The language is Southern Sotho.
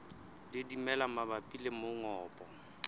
le dimela mabapi le mongobo